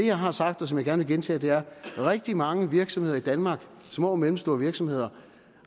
jeg har sagt og som jeg gerne vil gentage her rigtig mange virksomheder i danmark små og mellemstore virksomheder